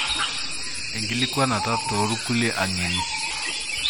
Enkilikwanata tokulie angeni.